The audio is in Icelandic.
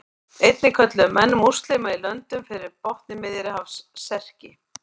Einnig kölluðu menn múslíma í löndunum fyrir botni Miðjarðarhafs Serki.